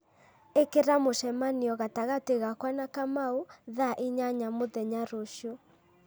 ĩkĩra mũcemanio gatagatĩ gakwa na kamau thaa inyanya mũthenya rũciũ